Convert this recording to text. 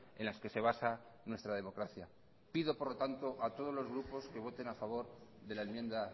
en las que se basa nuestra democracia pido por lo tanto a todos los grupos que voten a favor de la enmienda